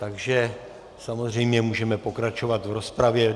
Takže samozřejmě můžeme pokračovat v rozpravě.